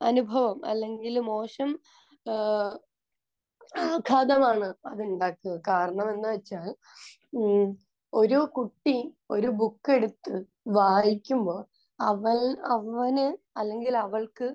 അനുഭവം അല്ലെങ്കിൽ മോശം ഏഹ് ആഖാതമാണ് അതുണ്ടാക്കുക. കാരണം എന്ന് വെച്ചാൽ മ്മ് ഒരു കുട്ടി ഒരു ബുക്ക് എടുത്ത് വായിക്കുമ്പോൾ അവൾ...അവന് അല്ലെങ്കിൽ അവൾക്ക്